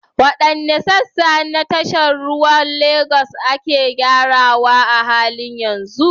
Waɗanne sassa na tashar ruwan Legas ne ake gyarawa a halin yanzu?